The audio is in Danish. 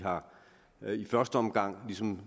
første omgang ligesom